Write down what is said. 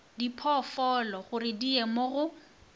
diphoofologore di ye go mo